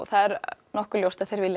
það er nokkuð ljóst að þarna vilja